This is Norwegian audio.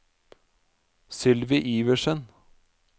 Sylvi Iversen